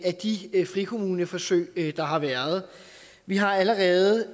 de frikommuneforsøg der har været vi har allerede